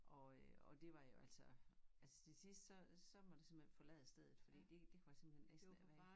Og øh og det jo altså altså til sidst så så måtte jeg simpelthen forlade stedet fordi det det var simpelthen næsten